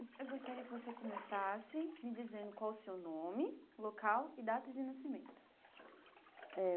Eu gostaria que você começasse me dizendo qual o seu nome, local e data de nascimento. Eh